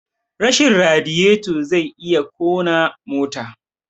Rashin radiyeto zai iya kona mota